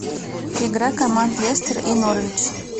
игра команд лестер и норвич